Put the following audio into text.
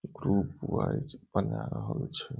Group wise बना रहल छै।